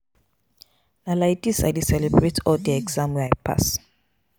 Na lai dis I dey celebrate all di exam wey I pass.